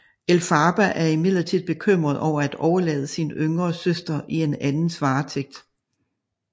Elphaba er imidlertid bekymret over at overlade sin yngre søster i en andens varetægt